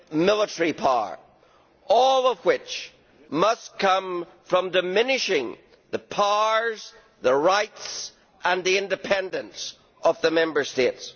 military power, all of which must come from diminishing the powers, the rights and the independence of the Member States.